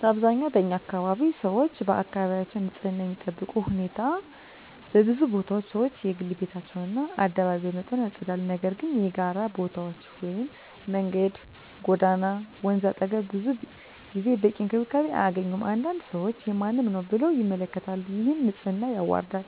በአብዛኛው በኛ አካባቢ 1️⃣ ሰዎች አካባቢያቸውን በንፅህና የሚጠብቁበት ሁኔታ በብዙ ቦታዎች ሰዎች የግል ቤታቸውን እና አደባባይ በመጠኑ ያጸዳሉ፤ ነገር ግን የጋራ ቦታዎች (መንገድ፣ ጎዳና፣ ወንዝ አጠገብ) ብዙ ጊዜ በቂ እንክብካቤ አያገኙም። አንዳንድ ሰዎች “የማንም ነው” ብለው ይመለከቱታል፣ ይህም ንፅህናን ያዋርዳል።